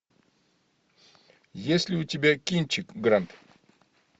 есть ли у тебя кинчик гранд